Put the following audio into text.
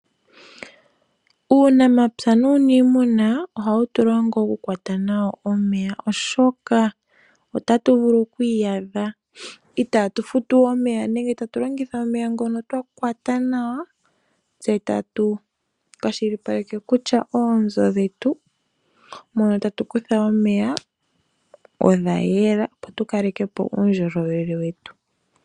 Uunamapywa nuniimuna ohawutulongo okukwata omeya oshoka otatu vulu kwiiyadha itatufutu omeya nenge tatulongitha omeya ngono twakwata nawa tse tatu kwashilipaleke kutya oonzo dhetu mono tatukutha omeya odhayela opo tukalekepo uundjolowele wetu.